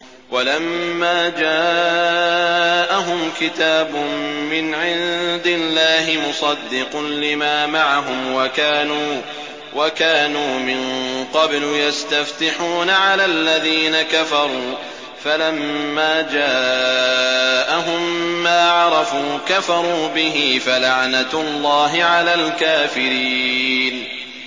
وَلَمَّا جَاءَهُمْ كِتَابٌ مِّنْ عِندِ اللَّهِ مُصَدِّقٌ لِّمَا مَعَهُمْ وَكَانُوا مِن قَبْلُ يَسْتَفْتِحُونَ عَلَى الَّذِينَ كَفَرُوا فَلَمَّا جَاءَهُم مَّا عَرَفُوا كَفَرُوا بِهِ ۚ فَلَعْنَةُ اللَّهِ عَلَى الْكَافِرِينَ